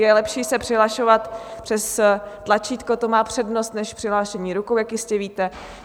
Je lepší se přihlašovat přes tlačítko, to má přednost, než přihlášení rukou, jak jistě víte.